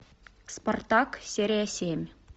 спартак серия семь